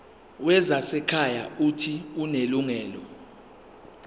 wezasekhaya uuthi unelungelo